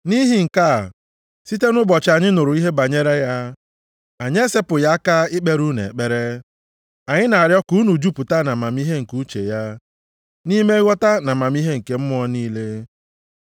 Nʼihi nke a, site nʼụbọchị anyị nụrụ ihe banyere ya, anyị esepụghị aka ikpere unu ekpere. Anyị na-arịọ ka unu jupụta nʼamamihe nke uche ya, nʼime nghọta ma amamihe nke mmụọ niile.